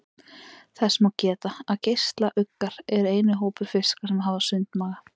Þess má geta að geislauggar eru eini hópur fiska sem hafa sundmaga.